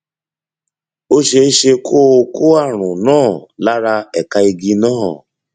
ó ṣeé ṣe kó o kó ààrùn náà lára ẹka igi náà